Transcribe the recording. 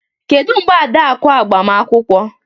Kedu mgbe Adaku agbamakwụkwọ